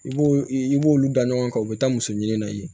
I b'o i b'olu da ɲɔgɔn kan o bɛ taa muso ɲini na i ye